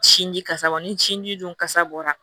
Sin ji kasa bɔ ni sin di kasa bɔra